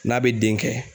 N'a bɛ den kɛ